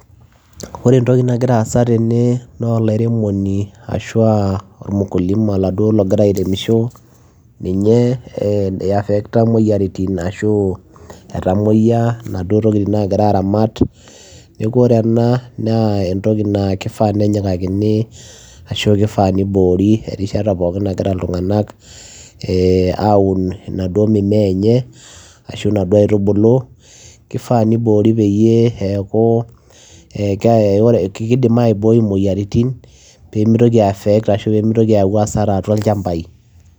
Ore entoki nagira aasa tene naa olairemoni ashua ormukulima oladuoo logira airemisho ,ninye iafekta imoyiaritin ashu etamoyia inaduoo tokitin nagira aramat. Niaku ore ena naa kifaa nenyikakini ashu kifaa niboori eishata pookin nagira iltunganak aun inaduoo mimea enye ashu inaduoo aitubulu kifaa niboori peyie eeku kidimaibooi imoyiaritin pemitoki affect ashua pemitoki ayau asara toolchambai